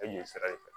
E ɲɛ sira ye